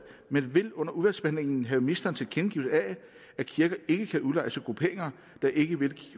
men vil under udvalgsbehandlingen have ministerens tilkendegivelse af at kirken ikke kan udlejes til grupperinger der ikke vil